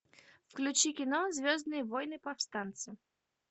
включи кино звездные войны повстанцы